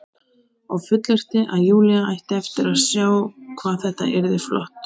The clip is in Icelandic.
Og fullyrti að Júlía ætti eftir að sjá hvað þetta yrði flott.